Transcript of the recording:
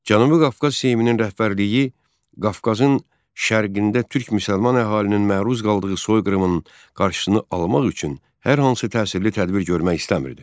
Cənubi Qafqaz Seyminin rəhbərliyi Qafqazın şərqində türk-müsəlman əhalinin məruz qaldığı soyqırımın qarşısını almaq üçün hər hansı təsirli tədbir görmək istəmirdi.